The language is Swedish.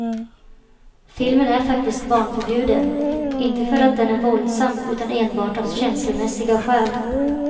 Filmen är faktiskt barnförbjuden, inte för att den är våldsam utan enbart av känslomässiga skäl.